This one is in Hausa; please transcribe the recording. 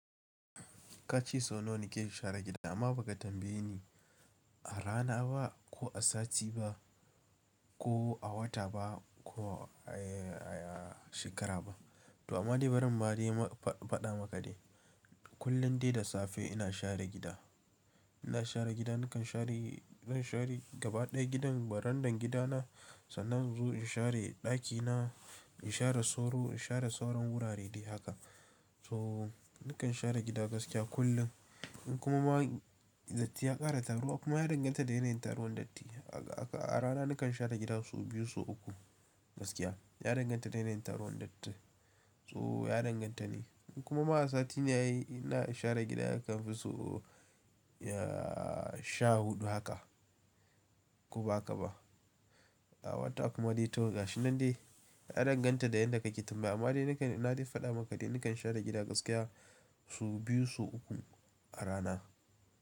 Ka ce sau nawa kake share gida amma ba ka tambaye ni a rana ba, ko a sati ba, ko a wata ba ko a shekara ba. To amma dai bari in ma dai faɗa maka dai. Kullum dai da safe ina share gida. Ina share gida, nakan share gaba ɗaya gidan barandan gidana sannan in zo in share ɗakina, in share soro, in share sauran wurare dai haka. So nakan share gida gaskiya kullum. In kuma ma datti ya ƙara taruwa kuma ya danganta da yanayin taruwan datti. A rana nakan share gida sau biyu ko sau uku gaskiya. Ya danganta da yanayin taruwan datti. To ya danganta ne. In kuma ma a sati ne ai, ina share gida yakan fi so sha huɗu haka, ko ba haka ba. A wata kuma dai to gashi nan dai. Ya danganta da yadda ka ke tambaya. Amma dai nakan, na dai faɗa maka dai nakan share gida gaskiya sau biyu sau uku a rana.